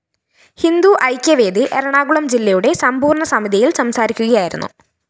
ഹിന്ദു ഐക്യവേദി എറണാകുളം ജില്ലയുടെ സമ്പൂര്‍ണ സമിതിയില്‍ സംസാരിക്കുകയായിരുന്നു